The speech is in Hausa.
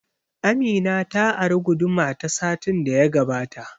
Amina ta ari guduma ta satin da ya gabata